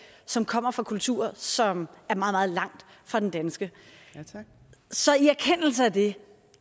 som kommer fra kulturer som er meget meget langt fra den danske så i erkendelse af det